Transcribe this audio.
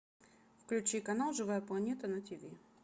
включи канал живая планета на тиви